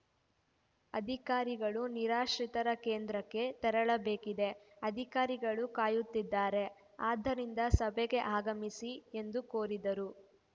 ಅಧಿಕಾರಿಗಳು ನಿರಾಶ್ರಿತರ ಕೇಂದ್ರಕ್ಕೆ ತೆರಳಬೇಕಿದೆ ಅಧಿಕಾರಿಗಳು ಕಾಯುತ್ತಿದ್ದಾರೆ ಆದ್ದರಿಂದ ಸಭೆಗೆ ಆಗಮಿಸಿ ಎಂದು ಕೋರಿದರು